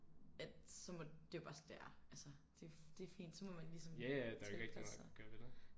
At så må det er jo bare sådan det er altså det er det fint så må man ligesom tilpasse sig